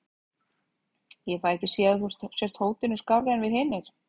Ég fæ ekki séð að þú sért hótinu skárri en við hinir.